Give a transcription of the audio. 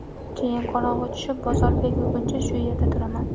Keyin qorong‘u tushib, bozor bekilguncha shu yerda turaman.